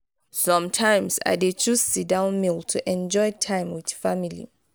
sometimes i dey choose sit-down meal to enjoy time with family.